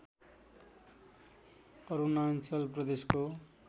अरुणाञ्चल प्रदेशको